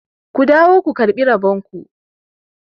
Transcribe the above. ku dawo ku karɓi rabonku!